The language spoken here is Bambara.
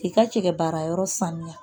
K'i ka cɛ baara yɔrɔ saniya